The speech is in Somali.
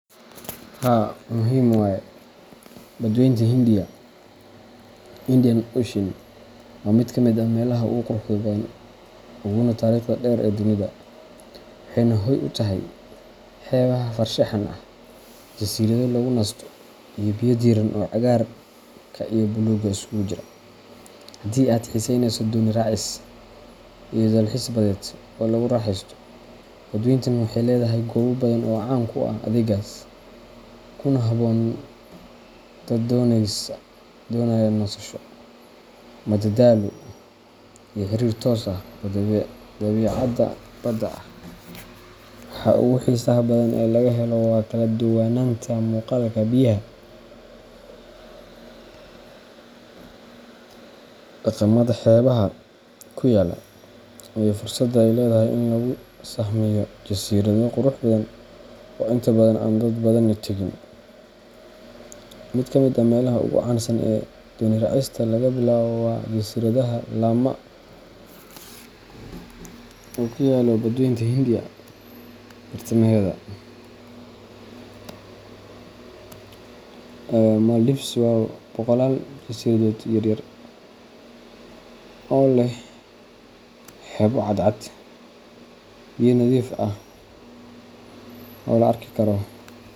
Haa muhim waye, Badweynta Hindiya Indian Ocean waa mid ka mid ah meelaha ugu quruxda badan uguna taariikhda dheer ee dunida, waxayna hoy u tahay xeebaha farshaxan ah, jasiirado lagu nasto, iyo biyo diirran oo cagaarka iyo buluugga isugu jira. Haddii aad xiiseyneyso dooni raacis iyo dalxiis badeed oo lagu raaxaysto, badweyntan waxay leedahay goobo badan oo caan ku ah adeeggaas, kuna habboon dad doonaya nasasho, madadaalo, iyo xiriir toos ah oo dabiicadda badda ah. Waxa ugu xiisaha badan ee laga helo waa kala duwanaanta muuqaalka biyaha, dhaqamada xeebaha ku yaalla, iyo fursadda ay leedahay in lagu sahmiyo jasiirado qurux badan oo inta badan aan dad badani tagin. Mid ka mid ah meelaha ugu caansan ee dooni raacista laga bilaabo waa jasiiradaha Lama. , oo ku yaalla badweynta Hindiya bartamaheeda. Maldives waa boqolaal jasiiradood yaryar oo leh xeebo cadcad, biyo nadiif ah oo la arki karo.